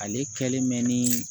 Ale kɛlen mɛ ni